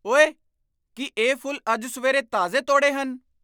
ਓਏ! ਕੀ ਇਹ ਫੁੱਲ ਅੱਜ ਸਵੇਰੇ ਤਾਜ਼ੇ ਤੌੜੇ ਹਨ?